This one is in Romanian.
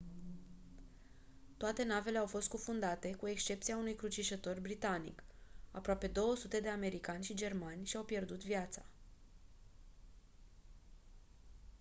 toate navele au fost scufundate cu excepția unui crucișător britanic aproape 200 de americani și germani și-au pierdut viața